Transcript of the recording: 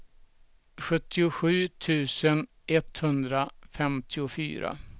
sjuttiosju tusen etthundrafemtiofyra